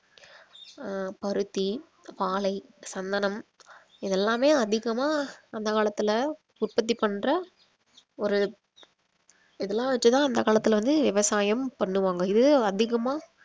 அஹ் பருத்தி பாலை சந்தனம் இதெல்லாமே அதிகமா அந்த காலத்துல உற்பத்தி பண்ற ஒரு இதெல்லாம் வச்சு தான் அந்த காலத்துல வந்து விவசாயம் பண்ணுவாங்க இது அதிகமா